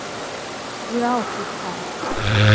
Ég á þig þar.